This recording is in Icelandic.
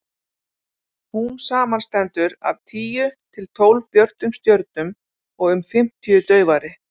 hún samanstendur af tíu til tólf björtum stjörnum og um fimmtíu daufari